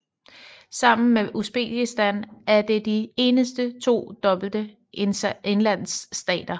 Sammen med Uzbekistan er det de eneste to dobbelte indlandsstater